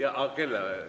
Jah, aga kellele?